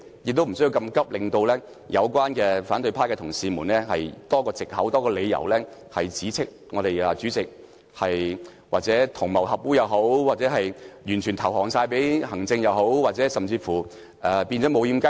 那麼趕急的話，只會給予反對派的同事多一個藉口及理由，指斥主席同流合污或完全對行政機關投降，甚至指斥立法會變成"無掩雞籠"。